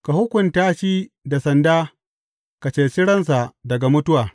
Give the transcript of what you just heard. Ka hukunta shi da sanda ka ceci ransa daga mutuwa.